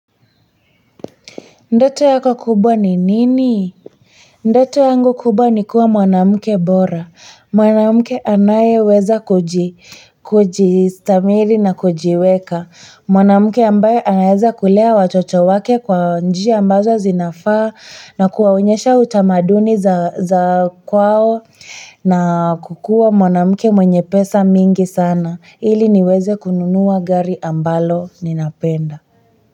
Ndoto yako kubwa ni nini? Ndoto yangu kubwa ni kuwa mwanamke bora. Mwanamke anayeweza kujistamiri na kujiweka. Mwanamke ambaye anaweza kulea watoto wake kwa njia ambazo zinafaa na kuwaonyesha utamaduni za kwao na kukua mwanamke mwenye pesa mingi sana. Ili niweze kununuwa gari ambalo ninapenda.